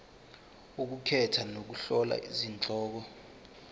ukukhetha nokuhlola izihloko